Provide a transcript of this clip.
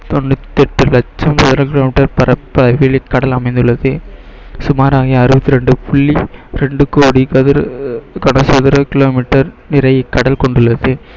தொண்ணூற்று எட்டு லட்சம் kilometer பரப்பளவில் இக்கடல் அமைந்துள்ளது சுமாராகிய அறுபத்தி இரண்டு புள்ளி இரண்டு கோடி கதிர் கனசதுர kilometer நீரை கடல் கொண்டு உள்ளது